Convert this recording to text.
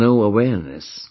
There is no awareness